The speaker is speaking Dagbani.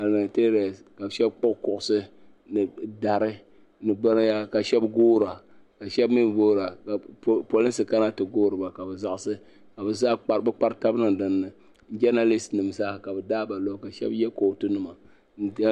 Palimentarians ka shɛba kpuɣi kuɣusi ni dari ni binyɛra ka guira ka shɛbi mi gɔɔra ka polinsi kana ti gɔriba ka bɛ zaɣisi ka bɛ kpari taba niŋ dinni janalist nim zaa ka bɛ daaba luhi ka shɛba yɛ kɔɔtu nima.